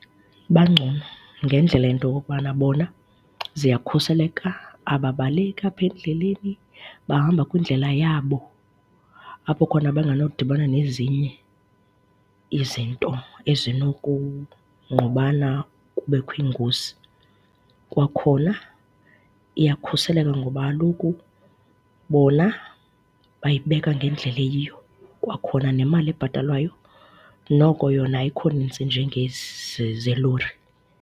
Bangcono ngendlela yento yokokubana bona ziyakhuseleka, ababaleki apha endleleni, bahamba kwindlela yabo apho khona banganodibana nezinye izinto ezinokungqubana kubekho ingozi. Kwakhona iyakhuseleka ngoba kaloku bona bayibeka ngendlela eyiyo. Kwakhona nemali ebhatalwayo noko yona ayikho nintsi njengezi zelori.